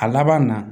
A laban na